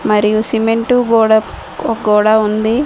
మరియు సిమెంటు గోడ ఓ గోడ ఉంది.